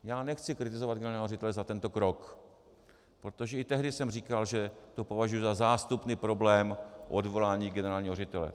Já nechci kritizovat generálního ředitele za tento krok, protože i tehdy jsem říkal, že to považuji za zástupný problém odvolání generálního ředitele.